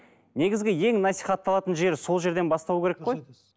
негізгі ең насихатталатын жері сол жерден басталу керек қой